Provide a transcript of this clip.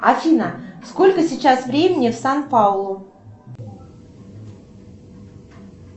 афина сколько сейчас времени в сан паулу